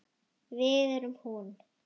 Við erum hún.